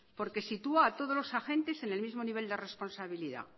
porque sitúa a todos los agentes en el mismo nivel de responsabilidad